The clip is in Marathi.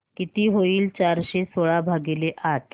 किती होईल चारशे सोळा भागीले आठ